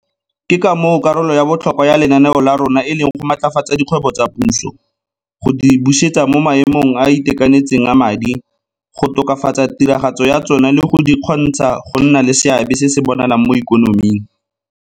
Ke ka moo karolo ya botlhokwa ya lenaneo la rona e leng go maatlafatsa dikgwebo tsa puso, go di busetsa mo maemong a a itekanetseng a madi, go tokafatsa tiragatso ya tsona le go di kgontsha go nna le seabe se se bonalang mo ikonoming.